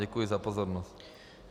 Děkuji za pozornost.